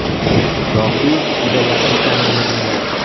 Yoki juda yaqin tanirmidinglar?